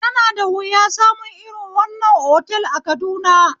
Yana da wuya samu irin wannan otal a Kaduna